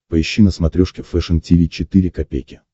поищи на смотрешке фэшн ти ви четыре ка